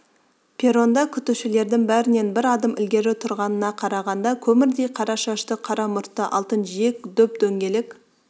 перронда күтушілердің бәрінен бір адым ілгері тұрғанына қарағанда көмірдей қара шашты қара мұртты алтын жиек дөп-дөңгелек